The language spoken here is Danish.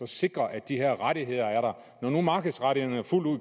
sikre at de her rettigheder er der når nu markedsrettighederne